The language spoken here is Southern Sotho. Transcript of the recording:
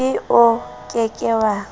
k o ke ke wa